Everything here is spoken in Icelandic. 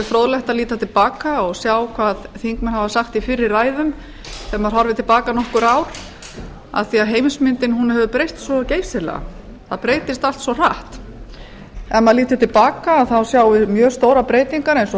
fróðlegt að líta til baka og sjá hvað þingmenn hafa sagt í fyrri ræðum þegar maður horfir til baka nokkur ár því heimsmyndin hefur breyst svo geysilega það breytist allt svo hratt ef maður lítur til baka sjáum við mjög stórar breytingar eins og